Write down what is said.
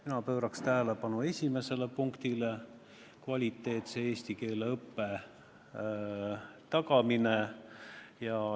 Mina pööraks tähelepanu esimesele punktile: kvaliteetse eesti keele õppe tagamine.